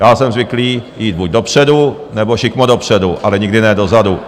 Já jsem zvyklý jít buď dopředu, nebo šikmo dopředu -- ale nikdy ne dozadu.